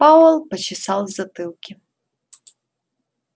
пауэлл почесал в затылке